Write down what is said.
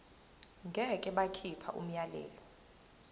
ngeke bakhipha umyalelo